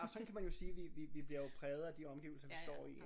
Ja og så kan man jo sige vi vi vi vi bliver jo præget af de omgivelser vi står i